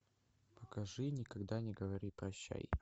покажи никогда не говори прощай